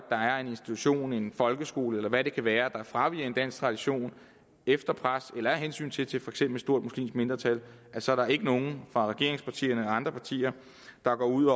er en institution en folkeskole eller hvad det kan være der fraviger en dansk tradition efter pres eller af hensyn til til for eksempel et stort muslimsk mindretal så er der ikke nogen fra regeringspartierne andre partier der går ud